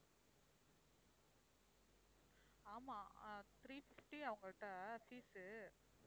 ஆமாம் ஆஹ் three fifty அவங்கள்ட்ட fees உ